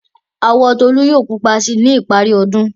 Àwọ̀ Tolú yóò pupa sí i ní ìparí ọdún.